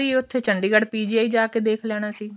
ਉੱਥੇ ਚੰਡੀਗੜ੍ਹ PGI ਜਾਕੇ ਦੇਖ ਲੈਣਾ ਸੀ